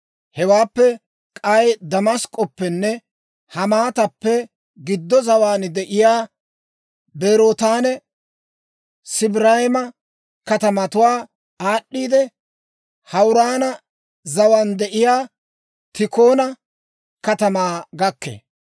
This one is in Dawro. Hewaappe k'ay Damask'k'oppenne Hamaatappe giddo zawaan de'iyaa Berootanne Sibrayima katamatuwaa aad'd'iidde, Hawuraana zawaan de'iyaa Tiikona katamaa gakkee.